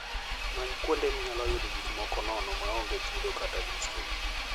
Many kuonde minyalo yude gik moko nono ma onge chudo kata disko.